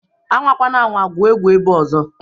Anwakwana anwa gwuo egwu ebea ọzọ!